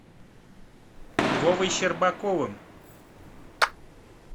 вовой щербаковым